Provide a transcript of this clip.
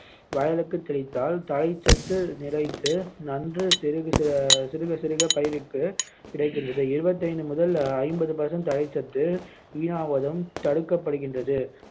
வயலுக்கு தெளித்தால் தழைச்சத்து நிலைத்து நன்கு சிறு சிறுகசிறுக பயிருக்கு கிடைக்கின்றது இருபத்தைந்து முதல் ஐம்பது percent தழைச்சத்து வீணாவதும் தடுக்கப்படுகின்றது